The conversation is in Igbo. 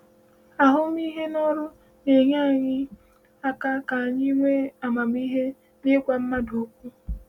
Ahụmịhe n’ọrụ na-enyé anyị aka ka anyị nwee amamihe n’ịgwa mmadụ okwu.